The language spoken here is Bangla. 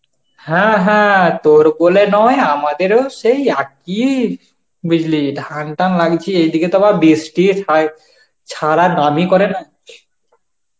হ্যাঁ হ্যাঁ, তোর বলে নয় আমাদেরও সেই একই বুঝলি ধান টান লাগিয়েছি এই দিকে তো আবার বৃষ্টি হয় ছাড়ার নামই করে না.